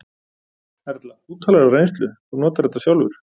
Erla: Þú talar af reynslu, þú notar þetta sjálfur?